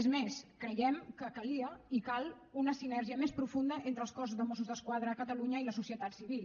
és més creiem que calia i cal una sinergia més profunda entre el cos de mossos d’esquadra de catalunya i la societat civil